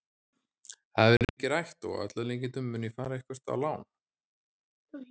Það hefur verið mikið rætt og að öllum líkindum mun ég fara eitthvert á lán.